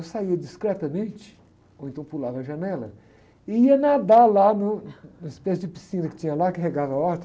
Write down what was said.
Eu saía discretamente, ou então pulava a janela, e ia nadar lá no, numa espécie de piscina que tinha lá, que regava a horta.